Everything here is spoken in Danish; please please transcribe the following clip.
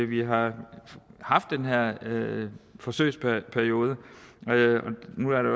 vi har haft den her forsøgsperiode